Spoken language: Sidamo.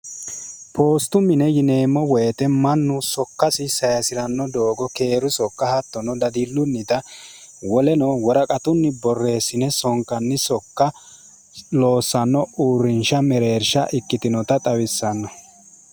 poostu mine yineemmo woyite mannu sokkasi sayisi'ranno doogo keeru sokka hattono dadillunnita woleno woraqatunni borreessine sonkanni sokka loossanno uurrinsha mereersha ikkitinota xawissanno